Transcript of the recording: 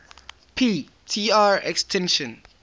p tr extinction